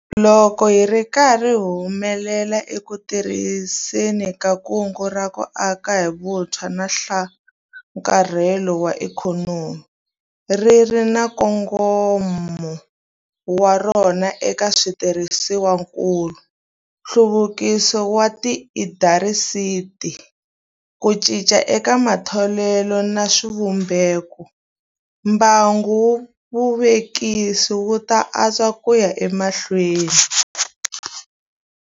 Loko hi ri karhi hi humelela eku tirhiseni ka Kungu ra ku Aka hi Vutshwa na Nhlakarhelo wa Ikhonomi - ri ri na nkongomo wa rona eka switirhisiwakulu, nhluvukiso wa tiindasitiri, ku cinca eka matholelo na swivumbeko - mbangu wa vuvekisi wu ta antswa ku ya emahlweni.